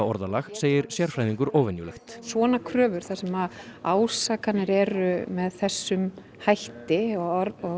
orðalag segir sérfræðingur óvenjulegt svona kröfur þar sem ásakanir eru með þessum hætti og